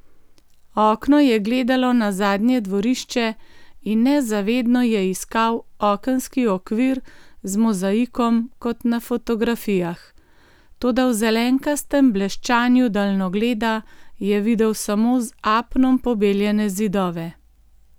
Okno je gledalo na zadnje dvorišče in nezavedno je iskal okenski okvir z mozaikom kot na fotografijah, toda v zelenkastem bleščanju daljnogleda je videl samo z apnom pobeljene zidove.